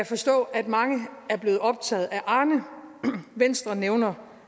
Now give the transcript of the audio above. forstå at mange er blevet optaget af arne venstre nævner